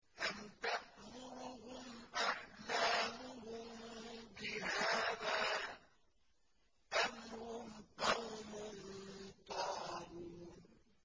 أَمْ تَأْمُرُهُمْ أَحْلَامُهُم بِهَٰذَا ۚ أَمْ هُمْ قَوْمٌ طَاغُونَ